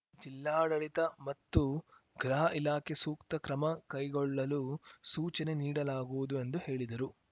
ಜಿಲ್ಲಾಡಳಿತ ಮತ್ತು ಗೃಹ ಇಲಾಖೆ ಸೂಕ್ತ ಕ್ರಮ ಕೈಗೊಳ್ಳಲು ಸೂಚನೆ ನೀಡಲಾಗುವುದು ಎಂದು ಹೇಳಿದರು